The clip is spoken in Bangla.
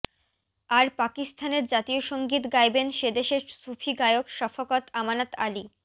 আর পাকিস্তানের জাতীয় সঙ্গীত গাইবেন সেদেশের সুফি গায়ক শফকত আমানত আলি